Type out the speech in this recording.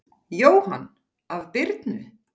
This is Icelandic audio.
Jóhann: Af Birnu?